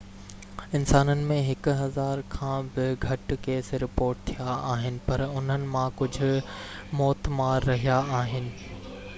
انسانن ۾ هڪ هزار کان به گهٽ ڪيس رپورٽ ٿيا آهن پر انهن مان ڪجهه موتمار رهيا آهن